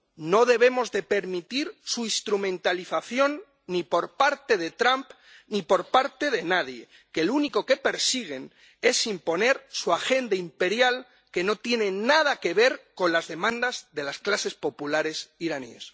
No debemos permitir su instrumentalización, ni por parte de Trump ni por parte de nadie, porque lo único que persiguen es imponer su agenda imperial, que no tiene nada que ver con las demandas de las clases populares iraníes.